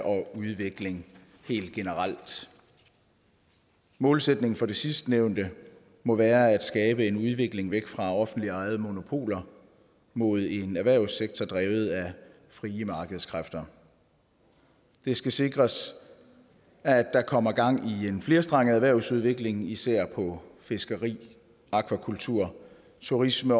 og udvikling helt generelt målsætningen for det sidstnævnte må være at skabe en udvikling væk fra offentligt ejede monopoler mod en erhvervssektor drevet af frie markedskræfter det skal sikres at der kommer gang i en flerstrenget erhvervsudvikling især på fiskeri akvakultur turisme